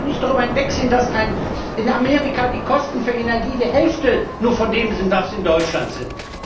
Man kann doch nicht darüber hinwegsehen, dass in Amerika die Kosten für Energie nur die Hälfte von dem sind, was sie in Deutschland sind.